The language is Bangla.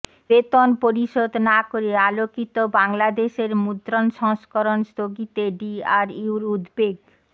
বেতন পরিশোধ না করে আলোকিত বাংলাদেশের মুদ্রণ সংস্করণ স্থগিতে ডিআরইউর উদ্বেগ